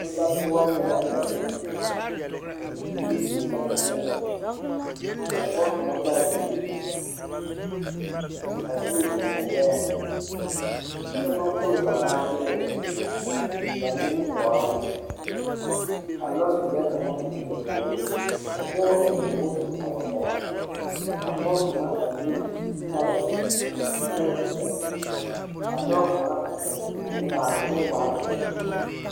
Nenbatoɔnee la a.zeŋ ka bibiiri zeŋ ba seɛŋ ka pɔge kaŋa taa bie k,a bie zeŋ o gbɛɛŋ kyɛ baŋ fori ba naateere a biŋ ba nimitɔɔreŋ kaŋ te be ba puoriŋ ka dɔɔ zɔŋ moto a wa gɛrɛ ka pɔge kaŋ a le zutare zutarezeɛ ka dɔɔ kaŋ a toŋ kuriŋmaara Kyɛ oŋ waa zeɛ.